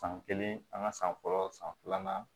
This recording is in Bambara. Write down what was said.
San kelen an ka san fɔlɔ san filanan